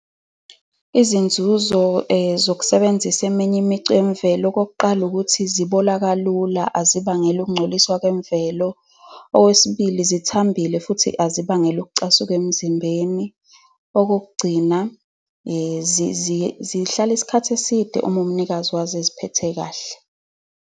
Izinzuzo zokusebenzisa eminye imicu yemvelo, okokuqala, ukuthi zibola kalula. Azibangeli ukungcoliswa kwemvelo. Okwesibili, zithambile futhi azibangeli ukucasuka emzimbeni. Okokugcina, zihlale isikhathi eside uma umnikazi wazi eziphethe kahle.